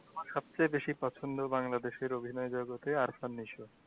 আমার সবচেয়ে বেশি পছন্দ বাংলাদেশের অভিনয় জগতে